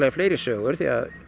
fleiri sögur því